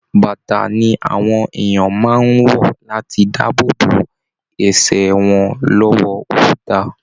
Bàtà ni àwọn èèyàn máa ń wọ̀ láti dáàbò bo ẹsẹ wọn lọ́wọ́ òkuta